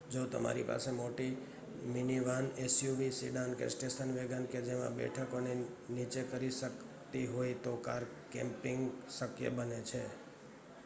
જો તમારી પાસે મોટી મિનિવાન એસયુવી સિડાન કે સ્ટેશન વેગન કે જેમાં બેઠકોને નીચે કરી શકતી હોય તો કાર કેમ્પિંગ શક્ય બને છે